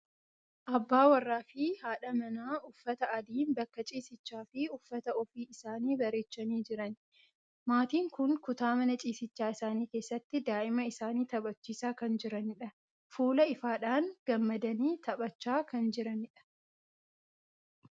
Abbaa warraa fi haadha manaa uffata adiin bakka ciisichaa fi uffata ofii isaanii bareechanii jiran. Maatiin kun kutaa mana ciisichaa isaanii keessatti daa'ima isaanii taphachiisaa kan jiranidha. Fuula ifaadhaan gammadanii taphachaa kan jiranidha.